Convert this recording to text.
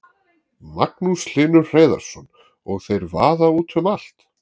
Magnús Hlynur Hreiðarsson: Og þeir vaða út um allt?